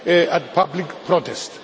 at public protests.